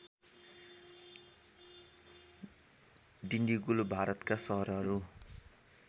डिन्डिगुल भारतका सहरहरू